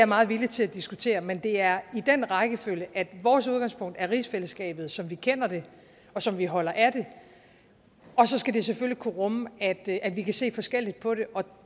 meget villig til at diskutere men det er i den rækkefølge at vores udgangspunkt er rigsfællesskabet som vi kender det og som vi holder af det og så skal det selvfølgelig kunne rumme at at vi kan se forskelligt på det og